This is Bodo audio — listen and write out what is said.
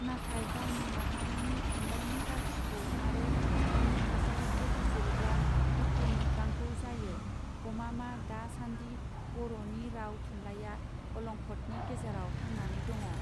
नाथाय गावनि माहारिनि थुनलाइनि बाखिखौ आरो बिनि थासारिखौ बिजिरोब्ला दुखु मोत्रांगौ जायो गमामा दा सानदि बरनि राव थुनलाइआ अलंखदनि गेजेराव थांनानै दङ.